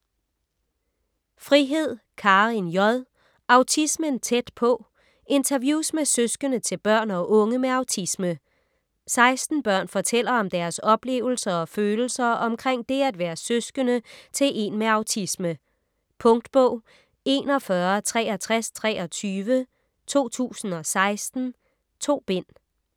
Frihed, Karin J.: Autismen tæt på: interviews med søskende til børn og unge med autisme 16 børn fortæller om deres oplevelser og følelser omkring det at være søskende til en med autisme. Punktbog 416323 2016. 2 bind.